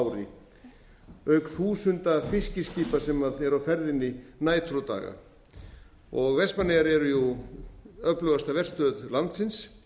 ári auk þúsunda fiskiskipa sem eru á ferðinni nætur og daga vestmannaeyjar eru jú öflugasta verstöð landsins